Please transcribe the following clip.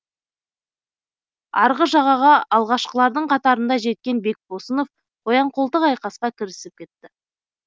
арғы жағаға алғашқылардың қатарында жеткен бекбосынов қоян қолтық айқасқа кірісіп кетті